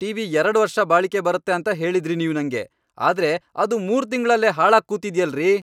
TV ಎರಡ್ ವರ್ಷ ಬಾಳಿಕೆ ಬರತ್ತೆ ಅಂತ ಹೇಳಿದ್ರಿ ನೀವ್ ನಂಗೆ.ಆದ್ರೆ ಅದು ಮೂರ್ ತಿಂಗ್ಳಲ್ಲೇ ಹಾಳಾಗ್ಕೂತಿದ್ಯಲ್ರೀ!